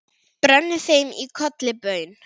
brenni þeim í kolli baun